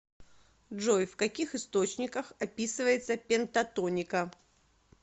джой в каких источниках описывается пентатоника